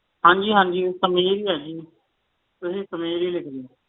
ਹਾਂਜੀ ਹਾਂਜੀ ਸਮੀਰ ਹੀ ਹੈ ਜੀ ਤੁਸੀਂ ਸਮੀਰ ਹੀ ਲਿਖੋ